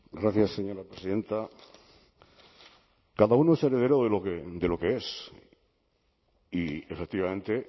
gracias señora presidenta cada uno es heredero de lo que es y efectivamente